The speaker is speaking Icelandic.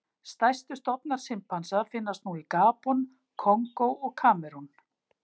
Stærstu stofnar simpansa finnast nú í Gabon, Kongó og Kamerún.